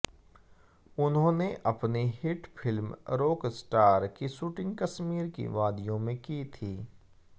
उन्होंने अपनी hit film Rockstar की शूटिग कश्मीर की वादियों में की थी